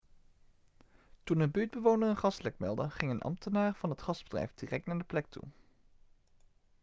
toen een buurtbewoner een gaslek meldde ging een ambtenaar van het gasbedrijf direct naar de plek toe